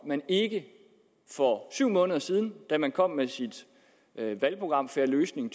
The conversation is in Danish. man ikke for syv måneder siden da man kom med sit valgprogram fair løsning